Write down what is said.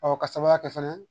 ka sababuya kɛ fɛnɛ